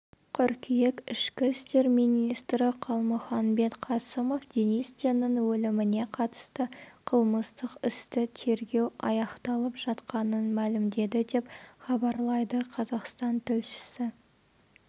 қыркүйек ішкі істер министрі қалмұханбет қасымов денис теннің өліміне қатысты қылмыстық істі тергеу аяқталып жатқанын мәлімдеді деп хабарлайды қазақстан тілшісі